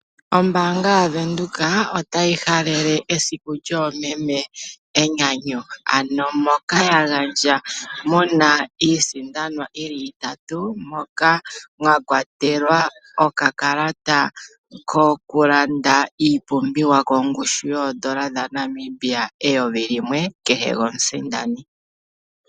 Ombaanga yaWindhoek otayi halele esiku lyomeme enyanyu ,ano moka yagandja muna iisindanwa yi li itatu moka mwakwatelwa okakalata kokulanda iipumbiwa kongushu yoodola dhaNamibia eyovi limwe kehe komusindani.